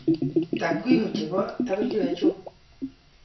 Takwimu che bo WHO.